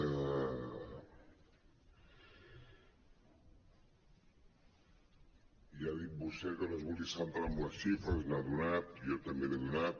ja ha dit vostè que no es volia centrar en les xifres n’ha do·nat jo també n’he donat